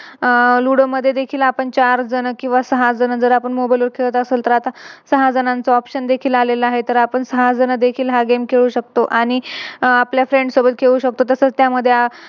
आह Ludo मध्ये देखील आपण चार जण किव्हा सहा जण जर आपण Mobile वर खेळत असेल तर आता सहा जणांचा Option देखील आलेलं आहे. तर आपण सहा जण देखील हा Game खेळू शकतो. आणि आपल्या Friends सोबत खेळू शकतो. तस त्यामध्ये